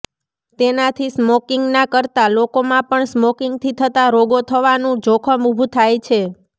તેનાથી સ્મોકિંગ ના કરતાં લોકોમાં પણ સ્મોકિંગથી થતાં રોગો થવાનું જોખમ ઊભું થાય છે